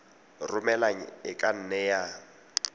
romelang e ka nne ya